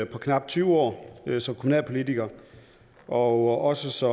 på knap tyve år som kommunalpolitiker og også